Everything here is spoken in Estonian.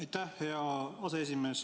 Aitäh, hea aseesimees!